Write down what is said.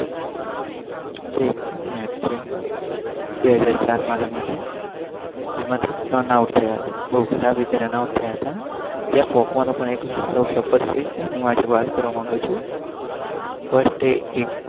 બવ ખરાબ રીતે રન આઉટ થાય હતા